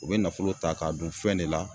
U bɛ nafolo ta k'a don fɛn de la